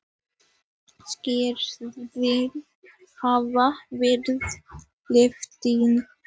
Skriftir hafa verið afteknar.